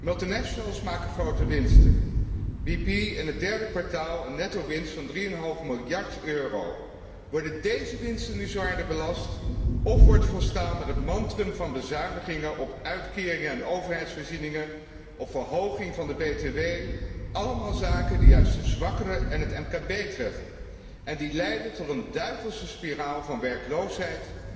Multinationals maken grote winsten BP in het derde kwartaal een nettowinst van 3,5 miljard euro. Worden deze winsten nu zwaarder belast, of wordt volstaan met het mantrum van bezuinigingen op uitkeringen en overheidsvoorzieningen, op verhoging van de btw? Dat zijn allemaal zaken die juist de zwakkeren en het mkb treffen en die leiden tot een duivelse spiraal van werkloosheid,